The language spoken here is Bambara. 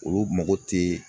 Olu mako tɛ